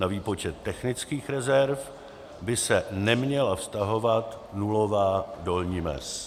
Na výpočet technických rezerv by se neměla vztahovat dluhová dolní mez.